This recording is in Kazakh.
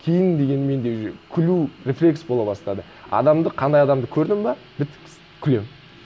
кейін дегенмен де уже күлу рефлекс бола бастады адамды қандай адамды көрдің бе бітті күлемін